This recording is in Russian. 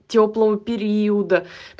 тёплого периода